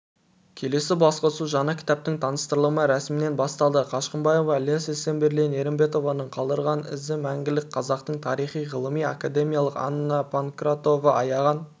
келелі басқосу жаңа кітаптың таныстырылымы рәсімінен басталды қашқымбаева ілияс есенберлин ерімбетованың қалдырған ізі мәңгілік қазақтың тарих ғылымы академик анна панкратова аяған